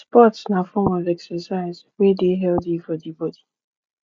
sports na form of exercise exercise wey de healthy for di body